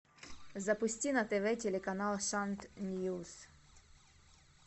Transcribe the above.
запусти на тв телеканал шант мьюз